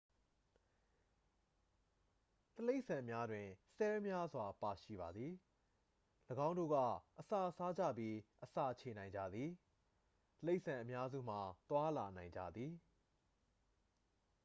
တိရစ္ဆာန်များတွင် ဆဲလ်များစွာ ပါရှိပါသည် ၎င်းတို့က အစာစားကြပြီး အစာချေနိုင်ကြသည် တိရစ္ဆာန်အများစုမှာ သွားလာနိုင်ကြသည်